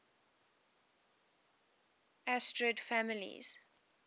asterid families